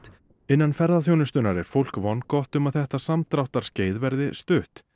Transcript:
innan ferðaþjónustunnar er fólk vongott um að þetta samdráttarskeið verði stutt